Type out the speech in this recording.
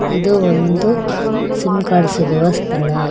ಇದು ಒಂದು sim card ಸಿಗುವ ಸ್ಥಳ.